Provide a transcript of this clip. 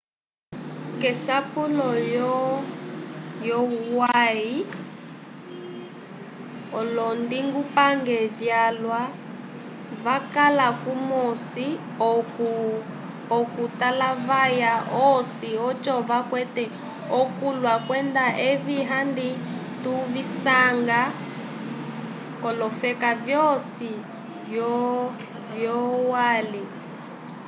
k'esapulo lyolwai olondingupange vyalwa vakala kumosi k'okutalavaya osi oco vakwate okulya kwenda evi handi tuvisanga k'olofeka vyosi vyolwali